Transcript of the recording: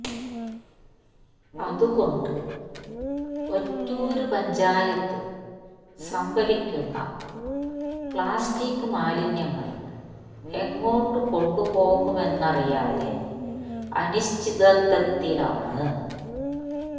അതുകൊണ്ട് ഒറ്റൂര് പഞ്ചായത്ത് സംഭരിക്കുന്ന പ്ലാസ്റ്റിക് മാലിന്യങ്ങള് എങ്ങോട്ടുകൊണ്ടു പോകുമെന്നറിയാതെ അനിശ്ചിതത്വത്തിലാണ്